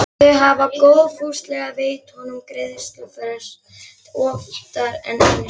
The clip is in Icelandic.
Þau hafa góðfúslega veitt honum greiðslufrest oftar en einu sinni.